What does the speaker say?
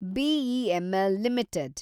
BEML limited